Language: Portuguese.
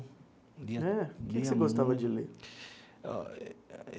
É o que que você gostava de ler?